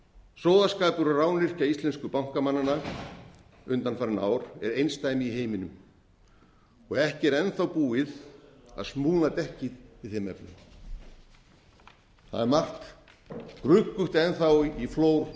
sóðaskapur og rányrkja íslensku bankamannanna undanfarin ár er einsdæmi í heiminum ekki er enn þá búið að smúla dekkið í þeim efnum það er margt gruggugt enn þá í flór